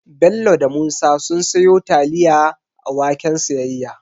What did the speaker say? Bello da Musa sun siyo taliya a waken siyayya